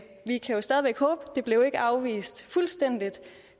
vi kan jo stadig væk håbe det blev ikke afvist fuldstændig